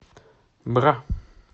бра